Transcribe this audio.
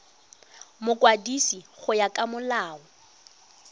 mokwadisi go ya ka molao